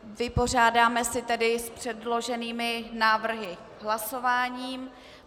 Vypořádáme se tady s předloženými návrhy hlasováním.